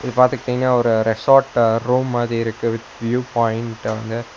இது பாத்துட்டீங்கனா ஒரு ரெசார்ட் ரூம் மாதி இருக்கு வித் வ்யூ பாயிண்ட் அங்க.